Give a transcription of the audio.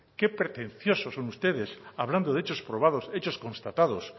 qué pretensiosos son ustedes hablando de hechos probados hechos constatados